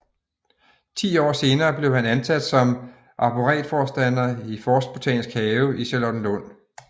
Ti år senere blev han ansat som arboretforstander i Forstbotanisk Have i Charlottenlund